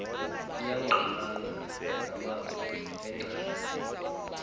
iyangqamana namazwi engcali